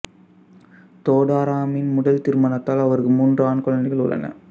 தோதாராமின் முதல் திருமணத்தால் அவருக்கு மூன்று ஆண் குழந்தைகள் உள்ளன